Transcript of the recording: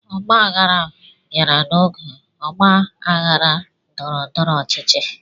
Ọgba aghara bịara n'oge ọgba aghara ndọrọ-ndọrọ ọchịchị.